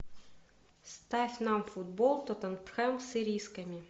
ставь нам футбол тоттенхэм с ирисками